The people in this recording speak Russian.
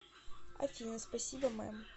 афина спасибо мэм